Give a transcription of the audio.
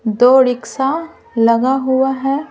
दो रिक्शा लगा हुआ है ।